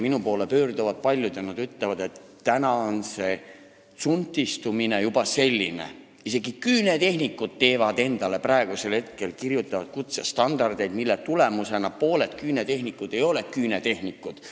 Minu poole pöörduvad paljud ja ütlevad, et see tsunftistumine on juba selline, et isegi küünetehnikud kirjutavad endale praegu kutsestandardeid, mille tulemusena pooled küünetehnikud ei ole küünetehnikud.